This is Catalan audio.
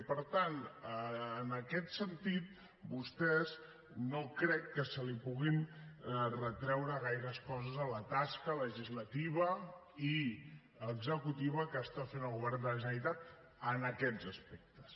i per tant en aquest sentit vostès no crec que li puguin retreure gaires coses a la tasca legislativa i executiva que està fent el govern de la generalitat en aquests aspectes